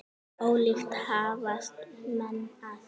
Ólíkt hafast menn að.